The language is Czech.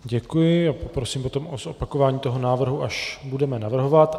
Děkuji a prosím potom o zopakování toho návrhu, až budeme navrhovat.